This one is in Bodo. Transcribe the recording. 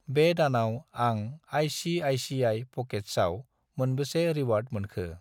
बे दानाव आं आइ.सि.आइ.सि.आइ. प'केट्सआव मोनबेसे रिवार्ड मोनखो?